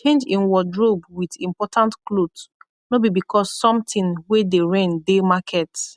change en wardrobe wit important kloth nor bi bikos somtin wey dey reign dey market